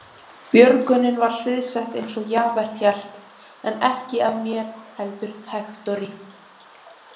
Björgunin var sviðsett eins og Javert hélt, en ekki af mér heldur Hektori.